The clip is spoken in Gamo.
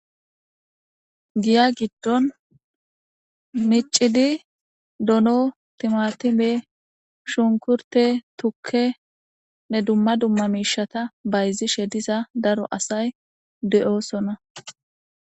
Giya giddon miccidi dono, timatime, shunkurtte, tukkenne dumma dumma miishata bayzishe diza daro asay de'oosona.